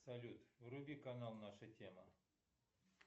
салют вруби канал наша тема